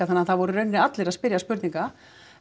þannig að það voru í rauninni allir að spyrja spurninga